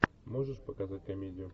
можешь показать комедию